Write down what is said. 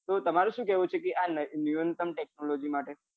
તો તમારું સુ કેવું છે કે આ new income technology માટે